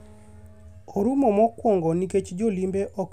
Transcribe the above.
orumo mokwongo nikech jolimbe ok bi kae, e twak mare.